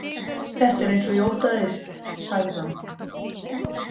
Þetta er eins og ég óttaðist, sagði hann.